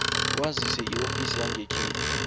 wazise iofisi yangekhenu